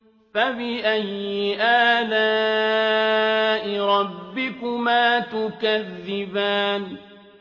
فَبِأَيِّ آلَاءِ رَبِّكُمَا تُكَذِّبَانِ